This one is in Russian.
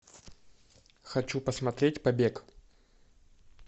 хочу посмотреть побег